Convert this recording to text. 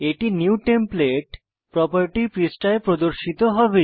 এটি new template property পৃষ্ঠায় প্রদর্শিত হবে